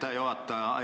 Aitäh, juhataja!